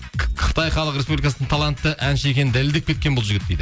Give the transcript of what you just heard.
қытай халық республикасын талантты әнші екенін дәлелдеп кеткен бұл жігіт дейді